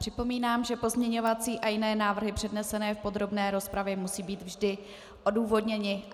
Připomínám, že pozměňovací a jiné návrhy přednesené v podrobné rozpravě musí být vždy odůvodněny.